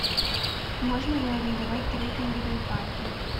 можно ли арендовать трекинговые палки